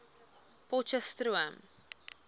potcheftsroom